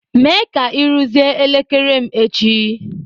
Mee ka ị rụzie elekere m echi!